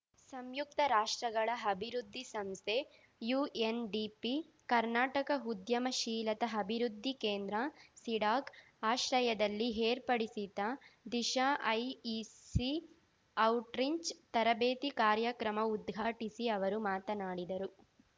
ಸಂಯುಕ್ತ ರಾಷ್ಟ್ರಗಳ ಅಭಿವೃದ್ಧಿ ಸಂಸ್ಥೆ ಯುಎನ್‌ಡಿಪಿ ಕರ್ನಾಟಕ ಉದ್ಯಮಶೀಲತಾ ಅಭಿವೃದ್ಧಿ ಕೇಂದ್ರಸಿಡಾಕ್‌ ಆಶ್ರಯದಲ್ಲಿ ಏರ್ಪಡಿಸಿದ್ದ ದಿಶಾಐಇಸಿಔಟ್ರಿಂಚ್‌ ತರಬೇತಿ ಕಾರ್ಯಕ್ರಮ ಉದ್ಘಾಟಿಸಿ ಅವರು ಮಾತನಾಡಿದರು